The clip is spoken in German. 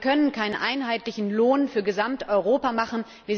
Aber wir können keinen einheitlichen Lohn für Gesamteuropa machen.